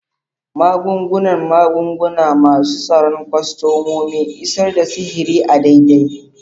Magungunan magunguna, masu tsaron kwastomomi, isar da sihiri a daidai.